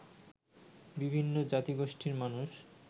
বিভিন্ন জাতিগোষ্ঠীর মানুষ